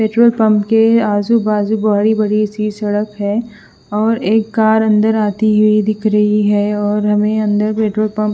petrol pump के आजू बाजु बड़ी बड़ी सी सडक है और एक कार अंदर आती हुई दिख रही है और हमे अंदर पेट्रोल पम्प--